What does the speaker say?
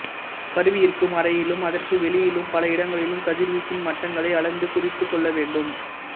கருவி இருக்கும் அறையிலும் அதற்கு வெளியிலும் பல இடங்களிலும் கதிர்வீச்சின் மட்டங்களை அளந்து குறித்துக் கொள்ளவேண்டும்